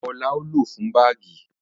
Awọ la o lo fún báágì